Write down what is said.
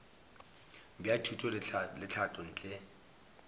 bja thuto le tlhahlo ntle